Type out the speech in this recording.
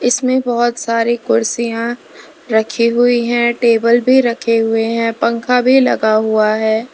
इसमें बोहोत सारी कुर्सियां रखी हुई हैं टेबल भी रखे हुए हैं। पंखा भी लगा हुआ है।